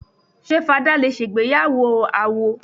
Ṣé fadá lè ṣègbéyàwó àwó?